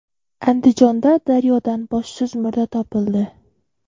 Andijonda daryodan boshsiz murda topildi.